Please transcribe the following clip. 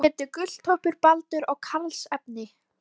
Næst var farið í að taka veiðarfærin upp úr bátnum.